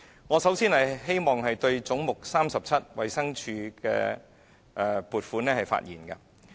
我首先想就"總目 37― 衞生署"的撥款發言。